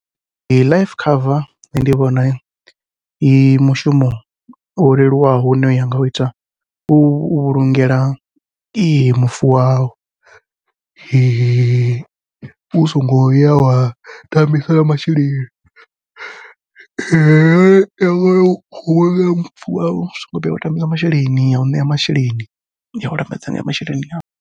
Life cover nṋe ndi vhona i mushumo wo leluwaho une wa ngau ita u vhulungela mufu wau, u songo ya wa tambisa masheleni wa vhulunga mufu wau u songo vhuya wa tambisa masheleni au ṋea masheleni yau lambedza nga masheleni awe.